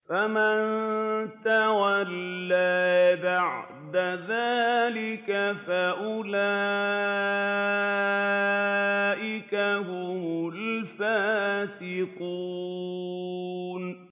فَمَن تَوَلَّىٰ بَعْدَ ذَٰلِكَ فَأُولَٰئِكَ هُمُ الْفَاسِقُونَ